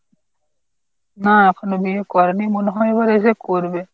না এখনো বিয়ে করেনি মনে হয় এবার এসে করবে।